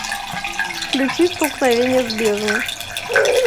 включи столкновение с бездной